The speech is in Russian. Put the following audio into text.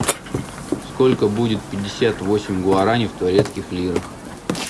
сколько будет пятьдесят восемь гуараней в турецких лирах